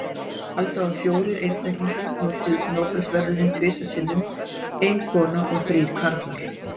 Alls hafa fjórir einstaklingar hlotið Nóbelsverðlaunin tvisvar sinnum, ein kona og þrír karlar.